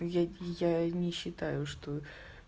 я я не считаю что